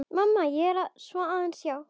Svona aðeins, já.